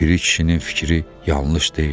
Piri kişinin fikri yanlış deyildi.